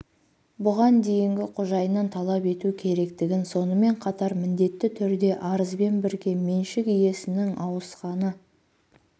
бұған дейінгі қожайыннан талап ету керектігін сонымен қатар міндетті түрде арызбен бірге меншік иесінің ауысқаны